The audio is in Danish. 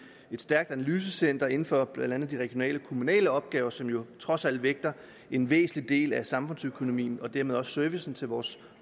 stærkt analysecenter inden for blandt andet de regionale og kommunale opgaver som jo trods alt vægter en væsentlig del af samfundsøkonomien og dermed også servicen til vores